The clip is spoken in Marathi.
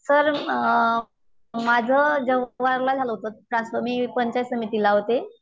सर अ अ माझं झालं होत ट्रान्सफर मी पंचायत समितीला होते.